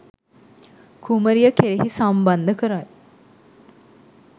කුමරිය කෙරෙහි සම්බන්ධ කරයි.